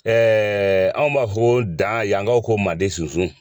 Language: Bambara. Ɛɛ anw b'a f'o ma ko dan yankaw ko manden sunsun.